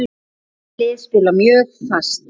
Bæði lið spila mjög fast.